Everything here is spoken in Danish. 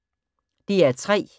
DR P3